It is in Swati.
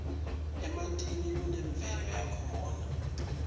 emantini kunemvelo yakhona